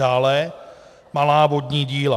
Dále malá vodní díla.